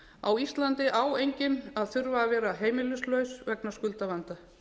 á íslandi á enginn að þurfa að vera heimilislaus vegna skuldavanda